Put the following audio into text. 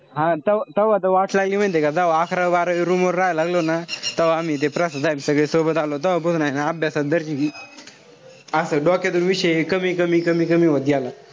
हा त तव्हा वाट लागली माहितीये का. तव्हा अकरावी-बारावी room वर राहायला लागलो ना. तव्हा आम्ही ते सगळे सोबत आलो. तव्हापासून हाये ना अभ्यासात असं डोक्याचा विषय एक कमी-कमी-कमी होत गेला.